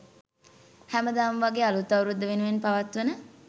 හැමදාම වගේ අළුත් අවුරුද්ද වෙනුවෙන් පවත්වන